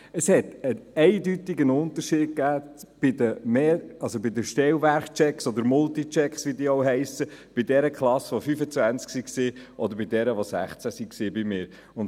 Bei meinen Klassen zeigte sich ein eindeutiger Unterschied bei den Stellwerktests oder den Multichecks, und wie diese Tests alle heissen, ob 16 oder 25 Kinder in einer Klasse waren.